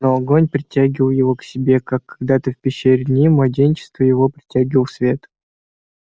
но огонь притягивал его к себе как когда то в пещере в дни младенчества его притягивал свет